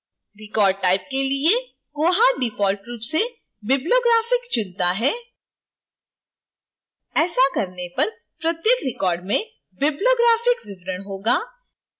record type के लिए koha default रूप से bibliographic चुनता है